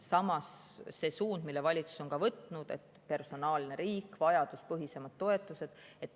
Samas see suund, mille valitsus on võtnud, on personaalne riik, vajaduspõhisemad toetused.